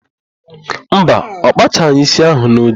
Mba, ọ kpachaghị ísí ahụ n'oge.